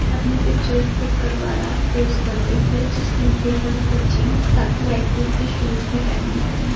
अपने picture click करवा रहा है पोज़ करते हुए जिसमें ग्रे कलर का जींस साथ ही व्हाइट कलर के शूज भी पहने हुए हैं।